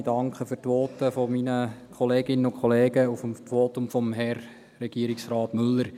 Ich danke für die Voten meiner Kolleginnen und Kollegen und für das Votum von Herrn Regierungsrat Müller.